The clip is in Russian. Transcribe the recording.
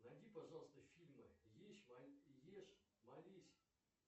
найди пожалуйста фильмы ешь молись